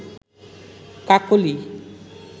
কাকলি